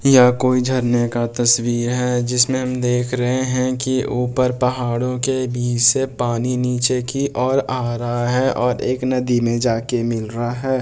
यह कोई झरने का तस्वीर है जिसमे हम देख रहे है की ऊपर पहाड़ों के बीच से पानी नीचे की ओर आ रहा है और एक नदी में जाके मिल रहा है।